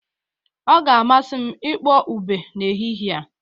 Ọ ga-amasị m ịkpọ ube n'ehihie a